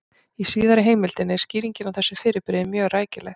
Í síðari heimildinni er skýringin á þessu fyrirbrigði mjög rækileg: